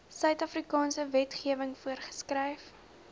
suidafrikaanse wetgewing voorgeskryf